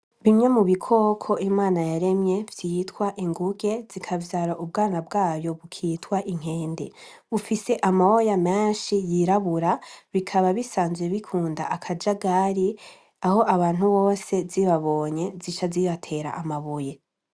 Kimwe mu bikoko Imana yaremye vyitwa inguge, zikavyara ubwana bwayo bukitwa inkende bufise amoya menshi y'irabura bikaba bisanzwe bikunda akajagari aho abantu bose zibabonye zica zibatera amabuye.